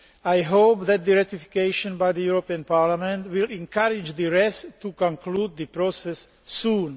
I hope that its ratification by the European Parliament will encourage the rest to conclude the process soon.